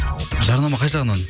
жарнама қай жағынан